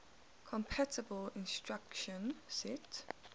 compatible instruction set